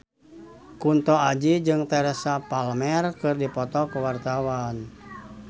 Kunto Aji jeung Teresa Palmer keur dipoto ku wartawan